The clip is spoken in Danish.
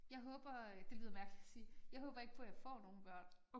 Jeg håber øh det lyder mærkeligt at sige. Jeg håber ikke på jeg får nogen børn